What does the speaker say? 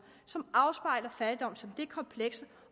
som afspejler fattigdom som det komplekse